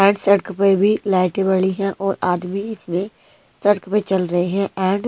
लाइटे पड़ी है और आदमी इसमें सड़क पे चल रे हैं एंड --